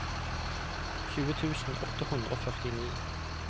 tjue tusen åtte hundre og førtini